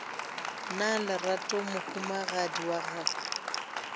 na lerato mohumagadi wa gago